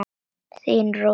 Þín Rósa Mary.